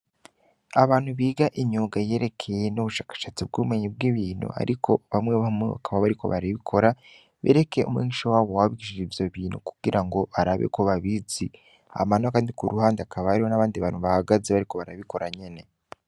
Abantu biga imyuga yerekeye vy'ubushakashatsi bw'ubumenyi bw'ibintu ariko bamwe bamwe bakaba bariko barabikora bereke umwigisha wabo wabigishije ivyobintu kugirango barabe ko babizi. Hama nokandi kuruhande hakaba hariho abantu bahagaze bariko barabikora nyene.